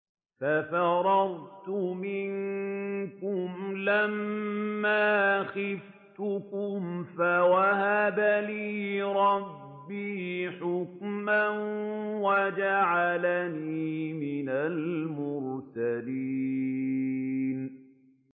فَفَرَرْتُ مِنكُمْ لَمَّا خِفْتُكُمْ فَوَهَبَ لِي رَبِّي حُكْمًا وَجَعَلَنِي مِنَ الْمُرْسَلِينَ